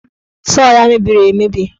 Sọọ ya mebiri emebi.